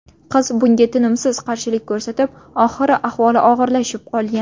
Qiz bunga tinimsiz qarshilik ko‘rsatib, oxiri ahvoli og‘irlashib qolgan.